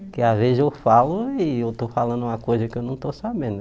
Porque às vezes eu falo e eu estou falando uma coisa que eu não estou sabendo.